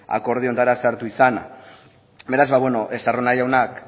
akordioetara sartu izana beraz estarrona jaunak